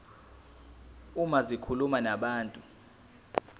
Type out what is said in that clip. uma zikhuluma nabantu